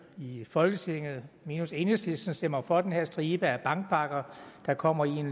i folketinget minus enhedslisten stemmer for den her stribe af bankpakker der kommer i en